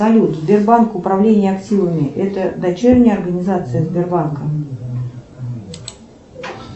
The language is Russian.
салют сбербанк управление активами это дочерняя организация сбербанка